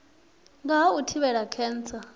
nga ha u thivhela khentsa